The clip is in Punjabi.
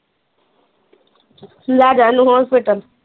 ਲੈਜਾਂ ਇਹਨੂੰ ਹੋਸਪਿਟਲ